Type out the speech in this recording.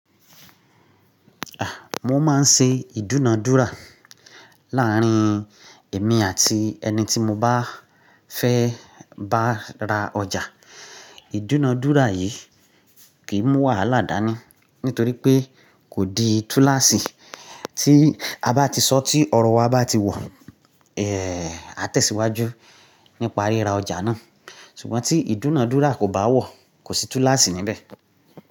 Ah! Mo máa ń ṣe ìdúnadúrà láàrín èmi àti ẹni tí mo bá fẹ́ bá ra ọjà. Ìdúnadúrà yìí kì í mú wàhálà dání nítorí pé kò di túláàsì tí a bá ti sọ tí ọ̀rọ̀ wa bá ti wọ̀, eh a tẹ̀síwájú nípa ríra ọjà náà. Ṣùgbọ́n tí ìdúnadúrà kò bá wọ̀, kò sí túláàsì níbẹ̀